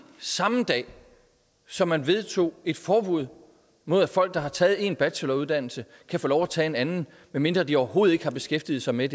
samme dag som man vedtog et forbud mod at folk der har taget en bacheloruddannelse kan få lov at tage en anden medmindre de overhovedet ikke har beskæftiget sig med